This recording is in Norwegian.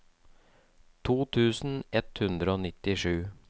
to tusen ett hundre og nittisju